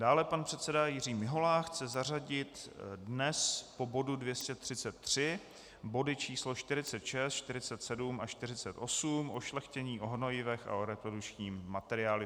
Dále pan předseda Jiří Mihola chce zařadit dnes po bodu 233 body číslo 46, 47 a 48, o šlechtění, o hnojivech a o reprodukčním materiálu.